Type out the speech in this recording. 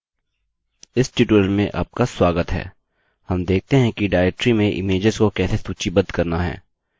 इस ट्यूटोरियल में आपका स्वागत है हम देखते हैं कि डाइरेक्टरी में इमेज्स को कैसे सूचीबद्ध करना है